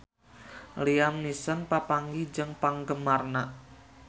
Liam Neeson papanggih jeung penggemarna